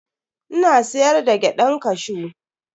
Ina siyar da gyadan kashew.